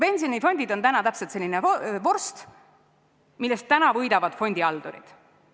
Pensionifondid on täna täpselt selline vorst, millest võidavad fondihaldurid.